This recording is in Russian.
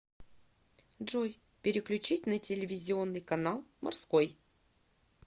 джой переключить на телевизионный канал морской